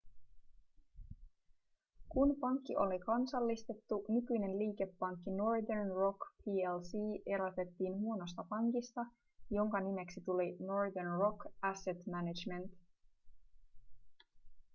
kun pankki oli kansallistettu nykyinen liikepankki northern rock plc erotettiin huonosta pankista jonka nimeksi tuli northern rock asset management